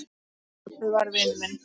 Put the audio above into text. Stebbi var vinur minn.